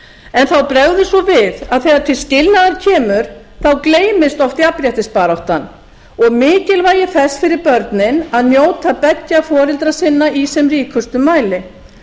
en þá bregður svo við að þegar skilnaðar kemur þá gleymist oft jafnréttisbaráttan og mikilvægi þess fyrir börnin að njóta beggja foreldra sinna í sem ríkustum mæli